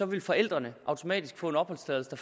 vil forældrene automatisk få en opholdstilladelse